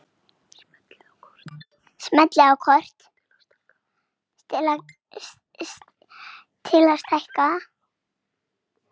Smellið á kort til að stækka það.